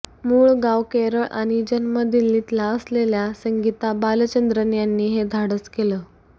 मूळ गाव केरळ आणि जन्म दिल्लीतला असलेल्या संगीता बालचंद्रन यांनी हे धाडस केलं